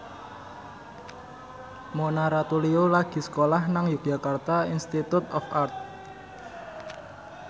Mona Ratuliu lagi sekolah nang Yogyakarta Institute of Art